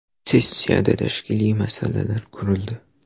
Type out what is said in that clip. Sessiyada tashkiliy masalalar ko‘rildi.